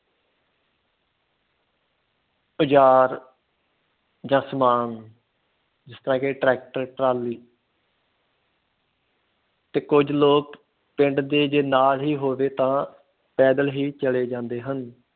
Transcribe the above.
ਔਜਾਰ ਜਾ ਸਮਾਨ ਜਿਸ ਤਰ੍ਹਾਂ ਕੇ ਟਰੈਕਟਰ ਟਰਾਲੀ ਤੇ ਕੁਝ ਲੋਕ ਪਿੰਡ ਦੇ ਜੇ ਨਾ ਵੀ ਹੋਵੇ ਤਾਂ ਪੈਦਲ ਹੀ ਚਲੇ ਜਾਂਦੇ ਹਨ।